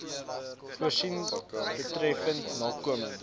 voorsien betreffende nakoming